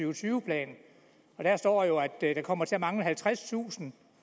og tyve plan og der står jo at der kommer til at mangle halvtredstusind